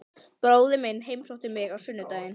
Bróðir minn heimsótti mig á sunnudaginn.